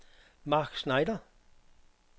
Marc Schneider